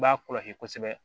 I b'a kɔlɔsi kosɛbɛ